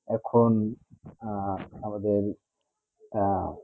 এখন আহ আমাদের আহ